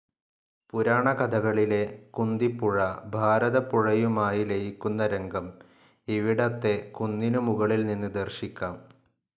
പുരാണ കഥകളിലെ കുന്തിപ്പുഴ ഭാരതപ്പുഴയുമായി ലയിക്കുന്ന രംഗം ഇവിടത്തെ കുന്നിനു മുകളിൽ നിന്ന് ദർശിക്കാം.